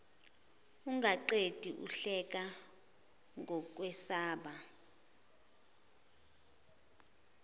ungaqedi uhleka ngokwesaba